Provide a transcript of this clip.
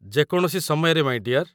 ଯେ କୌଣସି ସମୟରେ, ମାଇଁ ଡିଅର୍।